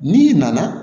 N'i nana